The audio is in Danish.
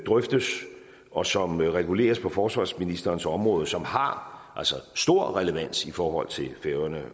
drøftes og som reguleres på forsvarsministerens område som altså har stor relevans i forhold til færøerne